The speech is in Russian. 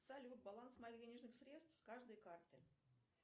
салют баланс моих денежных средств с каждой карты